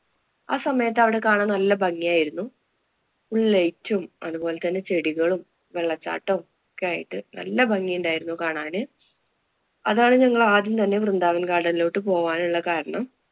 ആ സമയത്ത് അവിടെ കാണാന്‍ നല്ല ഭംഗിയായിരുന്നു. full light ഉം അതുപോലെ തന്നെ ചെടികളും, വെള്ളച്ചാട്ടവും ഒക്കെയായിട്ട്‌ നല്ല ഭംഗിയുണ്ടായിരുന്നു കാണാന്. അതാണ് ഞങ്ങള്‍ ആദ്യം തന്നെ വൃന്ദാവന്‍ garden ലോട്ട് പോകാനുള്ള കാരണം.